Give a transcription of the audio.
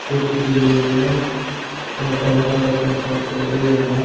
टोपी पेंही हुइ है और काला कलर का शर्ट पहेनाया हुआ है।